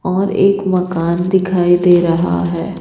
और एक मकान दिखाई दे रहा है।